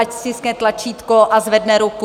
Ať stiskne tlačítko a zvedne ruku.